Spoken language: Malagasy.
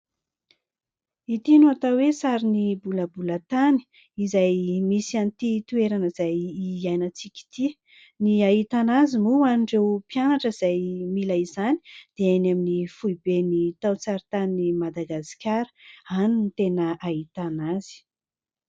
Ity no atao hoe sarin'ny bolabolan-tany izay misy an'ity toerana izay hiainantsika ity, ny ahitana azy moa ho an'ireo mpianatra izay mila izany dia eny amin'ny foibeny taon-tsaritanin'i Madagasikara, any no tena ahitana azy.